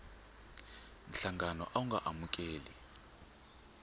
nhlangano a wu nga amukeli